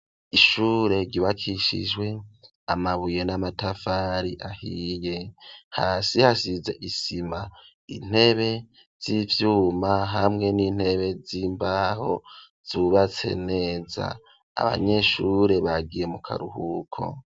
ishure ry,ubakishijwe amabuye n'amatafari ahiye hasi hasize isima intebe z'ivyuma hamwe n'intebe z'imbaho zubatse neza abanyeshure bagiye mu karuhuko.